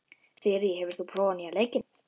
Þyrí, hefur þú prófað nýja leikinn?